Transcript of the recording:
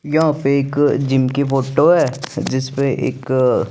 यहा पे एक जिनकी फोटो हे जिस पर एक --